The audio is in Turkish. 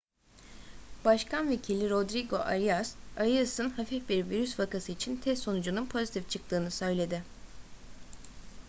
başkan vekili rodrigo arias arias'ın hafif bir virüs vakası için test sonucunun pozitif çıktığını söyledi